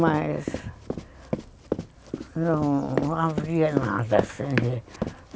Mas não havia nada assim de